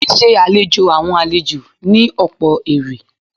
Ṣíṣe àlejò àwọn àlejò ní ọ̀pọ̀ èrè.